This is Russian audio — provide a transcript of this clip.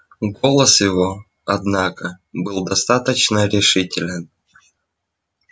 голос его однако был достаточно решителен